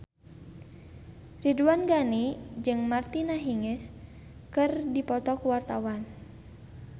Ridwan Ghani jeung Martina Hingis keur dipoto ku wartawan